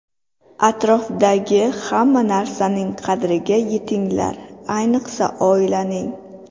Atrofdagi hamma narsaning qadriga yetinglar, ayniqsa oilaning.